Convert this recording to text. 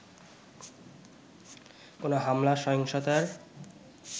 কোনো হামলা-সহিংসতার